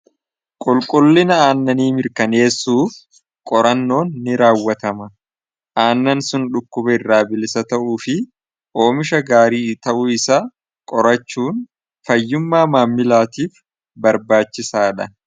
qulqullina aannanii mirkaneessuuf qorannoon ni raawwatama aannan sun dhukkuba irraa bilisa ta'uu fi oomisha gaarii ta'uu isa qorachuun fayyummaa maammilaatiif barbaachisaa dha